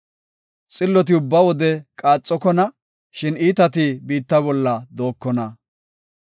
Xilloti ubba wode qaaxokona; shin iitati biitta bolla dookona.